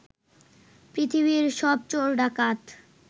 পৃথিবীর সব চোর-ডাকাত